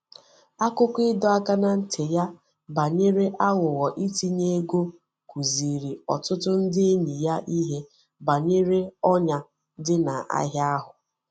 Akụkọ ịdọ aka ná ntị ya banyere aghụghọ itinye ego kụziiri ọtụtụ ndị enyi ya ihe banyere ọnyà dị n'ahịa ahụ.